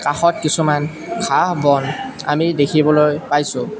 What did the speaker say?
কাষত কিছুমান ঘাঁহ-বন আমি দেখিবলৈ পাইছোঁ।